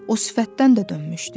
O sifətdən də dönmüşdü.